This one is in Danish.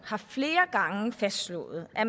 har flere gange fastslået at